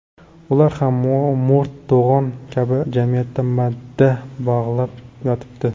Ular ham mo‘rt to‘g‘on kabi jamiyatda madda bog‘lab yotibdi.